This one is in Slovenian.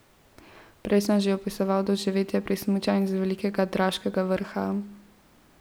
Prej sem že opisoval doživetja pri smučanju z Velikega Draškega vrha.